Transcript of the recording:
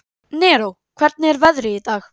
Neró, hvernig er veðrið í dag?